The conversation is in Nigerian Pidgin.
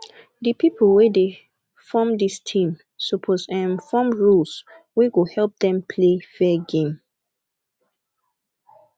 di people wey dey form dis team suppose um form rules wey go help dem play fair game